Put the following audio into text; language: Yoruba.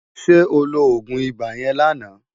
Sè óló ógún ibá yèn láná